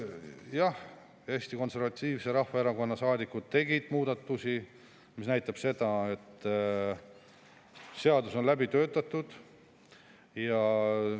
Jah, Eesti Konservatiivse Rahvaerakonna saadikud tegid muudatus, mis näitab seda, et seadus on läbi töötatud.